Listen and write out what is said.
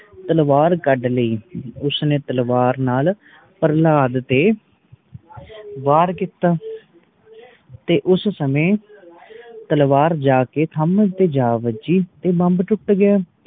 ਤਲਵਾਰ ਕੱਢ ਲਈ ਉਸ ਨੇ ਤਲਵਾਰ ਨਾਲ ਪ੍ਰਹਲਾਦ ਤੇ ਵਾਰ ਕੀਤਾ ਤੇ ਉਸ ਸਮੇ ਤਲਵਾਰ ਜਾ ਕੇ ਥਮ ਉੱਤੇ ਜਾ ਵੱਜੀ ਤੇ ਥਮ ਟੁੱਟ ਗਯਾ